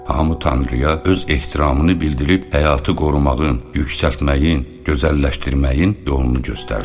Hamı tanrıya öz ehtiramını bildirib həyatı qorumağın, yüksəltməyin, gözəlləşdirməyin yolunu göstərdi.